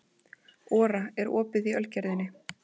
Ora, er opið í Ölgerðinni?